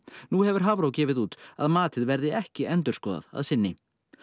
nú hefur Hafró gefið út að matið verði ekki endurskoðað að sinni